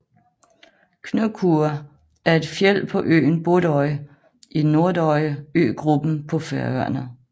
Knúkur er et fjeld på øen Borðoy i Nordoyar øgruppen på Færøerne